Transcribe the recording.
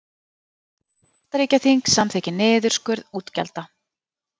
Bandaríkjaþing samþykkir niðurskurð útgjalda